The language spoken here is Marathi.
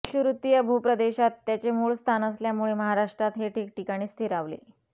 विषुववृत्तीय भूप्रदेशात याचे मूळ स्थान असल्यामुळे महाराष्ट्रात हे ठिकठिकाणी स्थिरावले